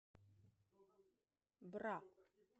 бра